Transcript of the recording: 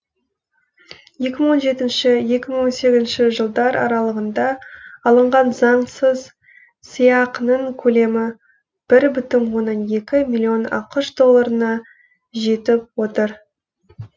екі мың он жетінші екі мың он сегізінші жылдар аралығында алынған заңсыз сыйақының көлемі бір бүтін оннан екі миллион ақш долларына жетіп отыр